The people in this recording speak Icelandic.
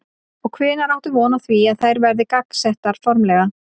Og hvenær áttu von á því að þær verði gangsettar formlega?